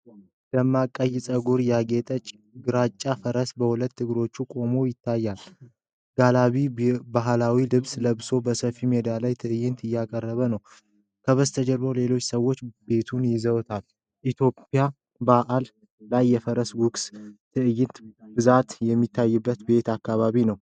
ደማቅ ቀይ ጸጉር ያጌጠ ግራጫ ፈረስ በሁለት እግሮቹ ቆሞ ይታያል። ጋላቢው ባህላዊ ልብስ ለብሷል፤ በሰፊ ሜዳ ላይ ትዕይንት እያቀረበ ነው። ከበስተኋላ ሌሎች ሰዎችና ቤቶች ይታያሉ። በኢትዮጵያ በዓላት ላይ የፈረስ ጉዞ ትርዒት በብዛት የሚታየው በየትኛው አካባቢ ነው?